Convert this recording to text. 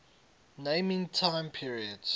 naming time periods